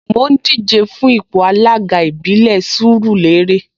Mò ń díje fún ipò alága ìbílẹ̀ Sùúrùlérè